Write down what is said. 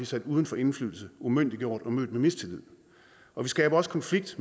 sat uden for indflydelse umyndiggjort og mødt med mistillid og vi skaber også konflikt